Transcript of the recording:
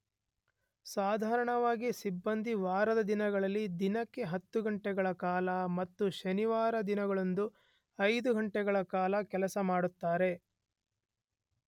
ಸಾಧಾರಣವಾಗಿ ಸಿಬ್ಬಂದಿ ವಾರದ ದಿನದಲ್ಲಿ ದಿನಕ್ಕೆ 10 ಘಂಟೆಗಳ ಕಾಲ ಮತ್ತು ಶನಿವಾರದ ದಿನಗಳಂದು 5 ಘಂಟೆಗಳ ಕಾಲ ಕೆಲಸ ಮಾಡುತ್ತಾರೆ.